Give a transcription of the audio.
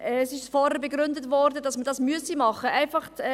Vorhin wurde begründet, dass man das machen müsse.